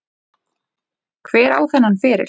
Hver á þennan feril?